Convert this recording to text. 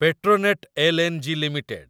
Petronet L N G. Limited